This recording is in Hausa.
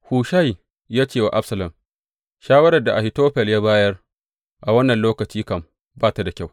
Hushai ya ce wa Absalom, Shawarar da Ahitofel ya bayar a wannan lokaci kam, ba ta da kyau.